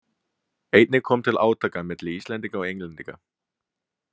Einnig kom til átaka milli Íslendinga og Englendinga.